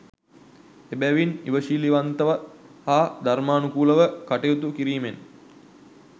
එබැවින් ඉවශිලිවන්තව හා ධර්මානුකූලව කටයුතු කිරීමෙන්